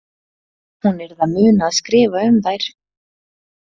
Hún yrði að muna að skrifa um þær.